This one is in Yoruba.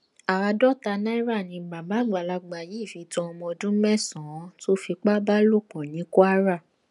àádọta náírà ni bàbá àgbàlagbà yìí fi tan ọmọ ọdún mẹsànán tó fipá bá lò pọ ní kwara